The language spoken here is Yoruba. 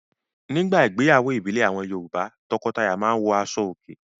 Nígbà ìgbéyàwó ìbílẹ̀ àwọn Yorùbá; tọkọtaya máa ń wọ aṣọòkè.